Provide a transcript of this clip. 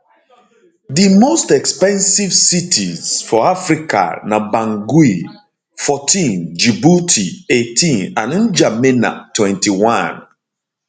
di most expensive cities expensive cities for africa na bangui 14 djibouti 18 and ndjamena 21